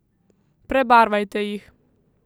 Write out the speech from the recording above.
Prebarvajte jih!